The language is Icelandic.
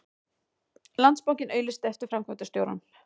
Landsbankinn auglýsir eftir framkvæmdastjórum